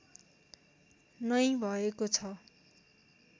नै भएको छ